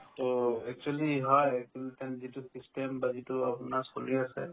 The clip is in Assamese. to actually হয় full time যিটো system বা যিটো আপোনাৰ চলি আছে